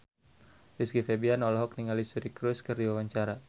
Rizky Febian olohok ningali Suri Cruise keur diwawancara